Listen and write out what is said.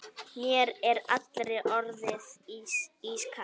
Mér er allri orðið ískalt.